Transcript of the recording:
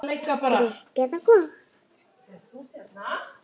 Grikk eða gott?